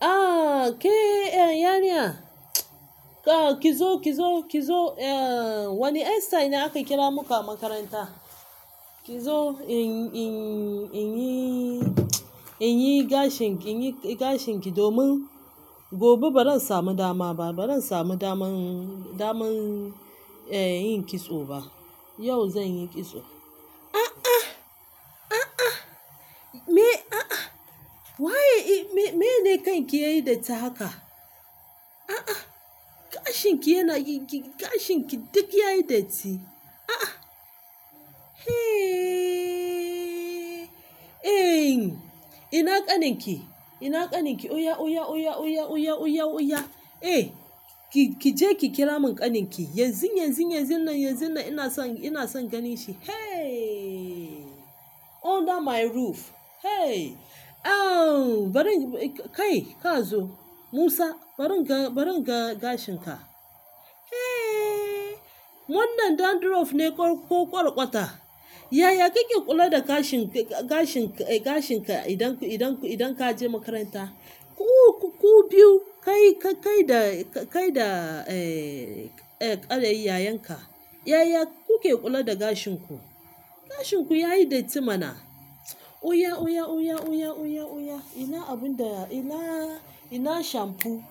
Ah, ke, eh, yariya. Ki zo, ki zo, ki zo, eh, wani hairstyle ne aka kira mu a makaranta. Ki zo in, in, in yi, in yi gashin ki, in yi gashin ki domin gobe ba ran samu dama ba, ba ran samu daman, daman, eh, yin kitso ba. Yau zan yi kitso. A a, a a, me, a a, wa ye, me, me ne kan ki yayi datti haka? A a, gashin ki yana yi, gashin ki duk yayi datti. A a. Hey, eh, ina ƙanin ki? Ina ƙanin ki? Oya, oya, oya, oya, oya, oya, oya. Eh, ki, ki je ki kira mun ƙanin ki. Yanzu, yanzu, yanzu nan, yanzu nan ina son, ina son ganin shi. Hey, under my roof. Hey, eh, bari, kai, ka zo. Musa, bari ka, bari ka ga gashin ka. Hey, wannan dandruff ne ko ƙwarƙwata? Yaya kuke kula da gashin ki, gashin ki, gashin ka idan, idan, idan ka je makaranta? Ku, ku biyu, kai, kai da, kai da, eh, ƙaraye yayanka, yaya kuke kula da gashin ku? Gashin ku yayi datti mana. Oya, oya, oya, oya, oya, oya. Ina abin da, ina, ina shampoo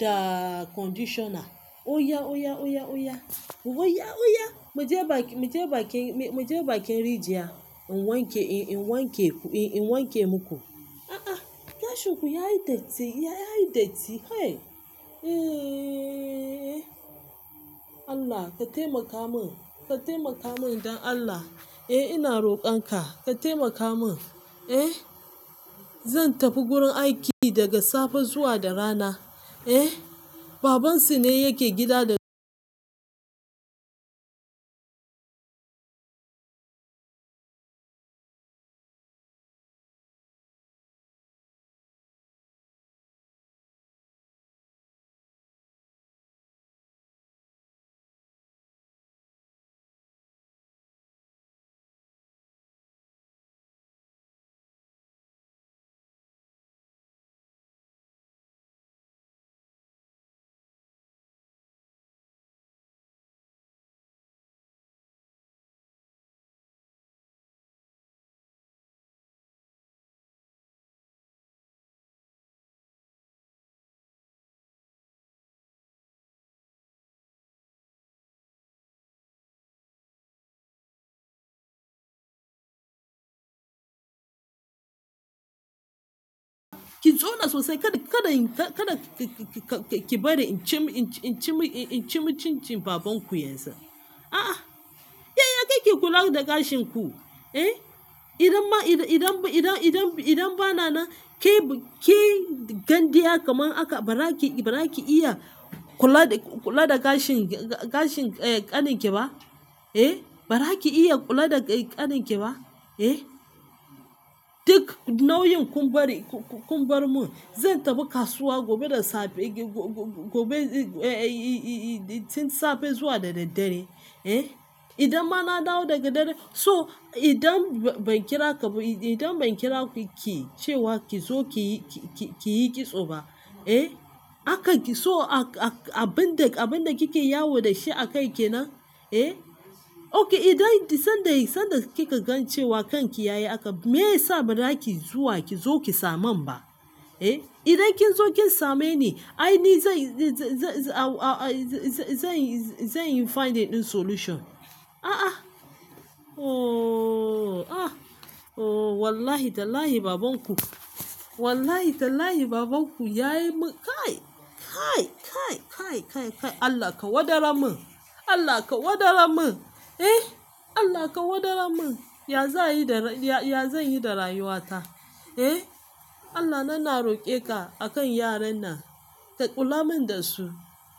da conditioner. Oya, oya, oya, oya. Oya, oya. Mu je bakin, mu je bakin, mu je bakin rijiyar. In wanke, in wanke ku, in wanke muku. A a, gashin ku yayi datti, yayi datti. Hey, eh. Allah ka taimaka mun, ka taimaka mun don Allah. Eh, ina roƙon ka, ka taimaka mun. Eh, zan tafi gurin aiki daga safe zuwa da rana. Eh, babansu ne yake gida da ki zauna sosai kada, kada, kada ki bari in ci, in ci, in ci cincin baban ku yanzu. A a, yaya kuke kula da gashin ku? Eh, idan ma, idan, idan, idan, idan ba na nan, ke, ke gandiya kaman haka ba za ki, ba za ki iya kula, kula da gashin, gashin ƙanin ki ba? Eh, ba za ki iya kula da ƙanin ki ba? Eh, duk nauyin kun bari, kun bar mun. Zan tafi kasuwa gobe da safe, gobe, safe zuwa da daddare. Eh, idan ba na dawo daga dare, so idan ban kira ka ba, idan ban kira ki ce wa ki zo ki, ki yi kitso ba, eh, haka ki so abin da, abin da kike yawo da shi a kai ki nan? Eh, okay idan sanda, sanda kika gan cewa kanki yayi haka, me yasa ba za ki zuwa ki zo ki same mun ba? Eh, idan kin zo kin same ni, ai ni zan, zan, zan yi, zan yi find a ɗin solution. A a, ooo, ah, o wallahi tallahi baban ku, wallahi tallahi baban ku yayi mu kai, kai, kai, kai, kai, kai. Allah ka wadara mun, Allah ka wadara mun. Eh, Allah ka wadara mun. Ya za yi da, ya, ya zan yi da rayuwa ta? Eh, Allah na na roƙe ka a kan yaran nan. Ka kula mun da su.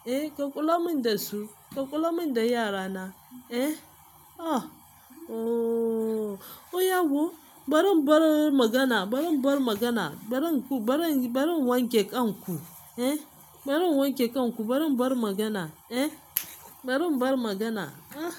Eh, ka kula mun da su. Ka kula mun da yara na. Eh, ah, ooo. Oya ku, bari mu bar magana, bari mu bar magana. Bari mun ku, bari, bari mun wanke kan ku. Eh, bari mun wanke kan ku, bari mu bar magana. Eh, bari mu bar magana. Ah.